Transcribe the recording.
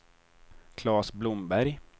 Klas Blomberg